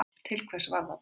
Til hvers var það byggt?